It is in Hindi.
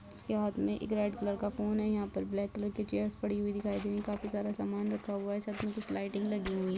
उसके हाथ में एक रेड कलर का फोन है यहाँ पर ब्लैक चेयरस दिखाई दे रही है काफी सारा सामान रखा हुआ है साथ में कुछ लाइटिंग लगी हुई --